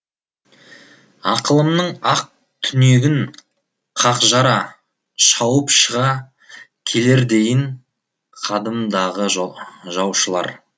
ақылымның ақ түнегін қақ жара шауып шыға келердейін қадымдағы жаушылар